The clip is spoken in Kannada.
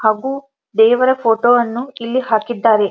ಹಾಗು ದೇವರ ಫೋಟೊ ಅನ್ನು ಇಲ್ಲಿ ಹಾಕಿದ್ದರೆ.